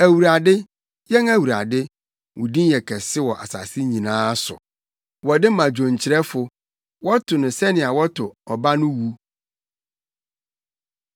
Awurade, yɛn Awurade, wo din yɛ kɛse wɔ asase nyinaa so! Wɔde ma dwonkyerɛfo. Wɔto no sɛnea wɔto “Ɔba no wu”.